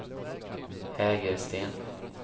Hägersten